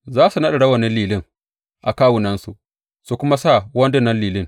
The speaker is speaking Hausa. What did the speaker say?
Za su naɗa rawunan lilin a kawunansu, su kuma sa wandunan lilin.